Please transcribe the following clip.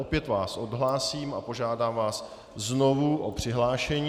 Opět vás odhlásím a požádám vás znovu o přihlášení.